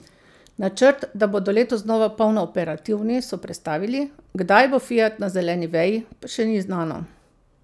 Načrt, da bodo letos znova polno operativni, so prestavili, kdaj bo Fiat na zeleni veji, pa še ni znano.